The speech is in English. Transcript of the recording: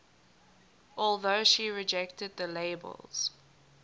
although she rejected the labels